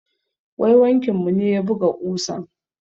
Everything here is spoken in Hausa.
Mai wankin mu ne ya buga ƙusan.